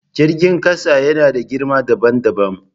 Jirgin ƙasa yana da girma dabam dabam.